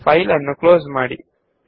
ಫೈಲನ್ನು ಕ್ಲೋಸ್ ಮಾಡಿ